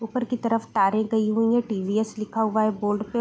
ऊपर की तरफ तारे गयी हुई है। टी_वी_एस लिखा हुआ है बोर्ड पे --